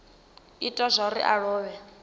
ita zwauri a lovhe kana